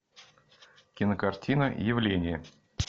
кинокартина явление